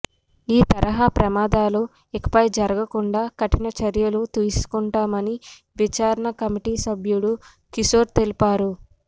ఈ తరహా ప్రమాదాలు ఇకపై జరగకుండా కఠిన చర్యలు తీసుకుంటామని విచారణ కమిటీ సభ్యుడు కిషోర్ తెలిపారు